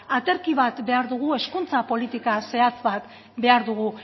aterki bat behar dugu hezkuntza politika zehatza bat behar dugu